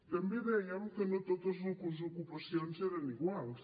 també dèiem que no totes les ocupacions eren iguals